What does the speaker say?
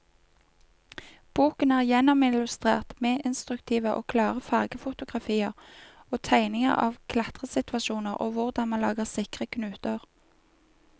Boken er gjennomillustrert med instruktive og klare fargefotografier og tegninger av klatresituasjoner og hvordan man lager sikre knuter.